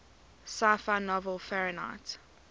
sci fi novel fahrenheit